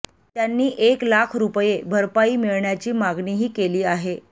त्यांनी एक लाख रुपये भरपाई मिळण्याची मागणीही केली आहे